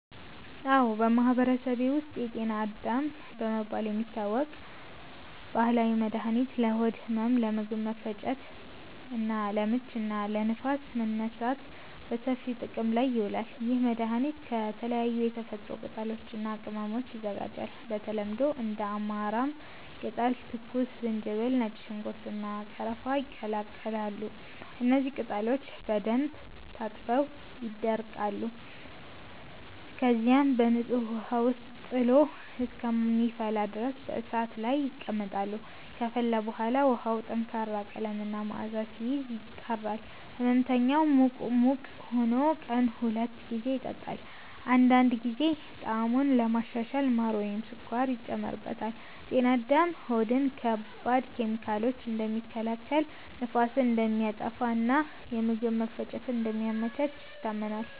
አዎ፣ በማህበረሰቤ ውስጥ “ጤና አዳም” በመባል የሚታወቅ ባህላዊ መድኃኒት ለሆድ ህመም፣ ለምግብ መፈጨት ችግር (ለምች) እና ለንፋስ መነሳት በሰፊው ጥቅም ላይ ይውላል። ይህ መድኃኒት ከተለያዩ የተፈጥሮ ቅጠሎች እና ቅመሞች ይዘጋጃል። በተለምዶ እንደ አማራም ቅጠል፣ ትኩስ ዝንጅብል፣ ነጭ ሽንኩርት፣ እና ቀረፋ ይቀላቀላሉ። እነዚህ ቅጠሎች በደንብ ታጥበው ይደቀቃሉ፣ ከዚያም በንጹህ ውሃ ውስጥ ጥሎ እስከሚፈላ ድረስ በእሳት ላይ ይቀመጣሉ። ከፈላ በኋላ ውሃው ጠንካራ ቀለም እና መዓዛ ሲይዝ፣ ይጣራል። ሕመምተኛው ሙቅ ሙቅ ሆኖ ቀን ሁለት ጊዜ ይጠጣዋል። አንዳንድ ጊዜ ጣዕሙን ለማሻሻል ማር ወይም ስኳር ይጨመርበታል። “ጤና አዳም” ሆድን ከባድ ኬሚካሎች እንደሚከላከል፣ ንፋስን እንደሚያጠፋ እና የምግብ መፈጨትን እንደሚያመቻች ይታመናል።